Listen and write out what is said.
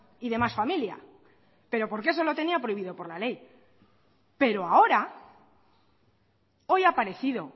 y demás familia pero porque eso lo tenía prohibido por la ley pero ahora hoy ha aparecido